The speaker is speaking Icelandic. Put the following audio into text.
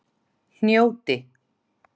Hnjóti